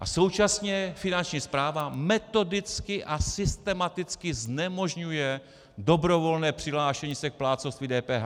A současně Finanční správa metodicky a systematicky znemožňuje dobrovolné přihlášení se k plátcovství DPH.